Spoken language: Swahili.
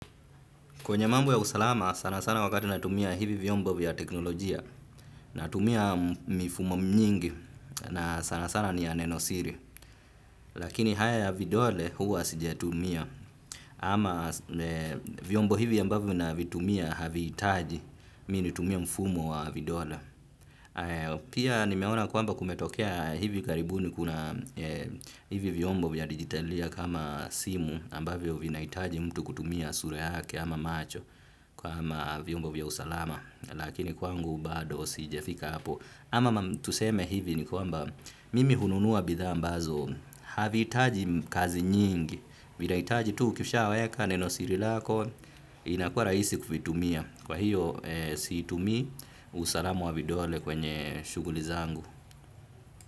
Kwenye mambo ya usalama sana sana wakati natumia hivi vyombo vya teknolojia. Natumia mifumo nyingi na sana sana ni ya nenosiri. Lakini haya ya vidole huwa sijatumia. Ama vyombo hivi ambavyo navitumia havihitaji mimi nitumie mfumo wa vidole. Pia nimeona kwamba kumetokea hivi karibuni kuna hivi vyombo vya digitalia kama simu ambavyo na vinahitaji mtu kutumia sura yake ama macho. Kama vyombo vya usalama lakini kwangu bado sijafika hapo ama tuseme hivi ni kwamba mimi hununua bidhaa ambazo havihitaji kazi nyingi vinahitaji tu ukishaweka neno siri lako inakua rahisi kuvitumia kwa hiyo siitumi usalama wa vidole kwenye shughuli zangu.